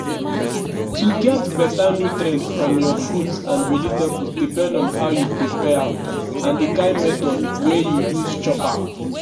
to get beta nutrient from your fruits and vegetables depend on how you prepare am and di kain method wey you use chop am.